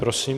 Prosím.